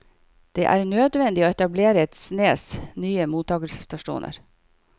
Det er nødvendig å etablere et snes nye mottaksstasjoner.